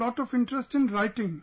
have a lot of interest in writing